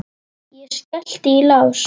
Ég skellti í lás.